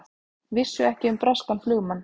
Vissu ekki um breskan flugumann